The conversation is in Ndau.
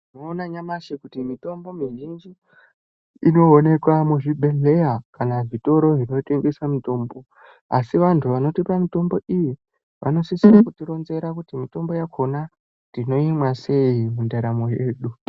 Tinoona nyamashi kuti mitombo mizhinji inoonekwa muzvibhedhleya kana zvitoro zvinotengesa mitombo asi anhu vanotipa mitombo iyi vanosise kutironzera kuti mitombo yakhona tinoimwa sei mundaramo yedu.